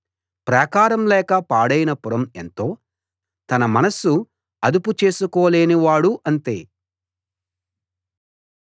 ప్రాకారం లేక పాడైన పురం ఎంతో తన మనస్సు అదుపు చేసుకోలేని వాడు అంతే